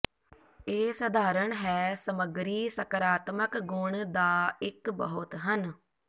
ਇਹ ਸਧਾਰਨ ਹੈ ਸਮੱਗਰੀ ਸਕਾਰਾਤਮਕ ਗੁਣ ਦਾ ਇੱਕ ਬਹੁਤ ਹਨ